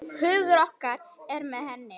Hugur okkar er með henni.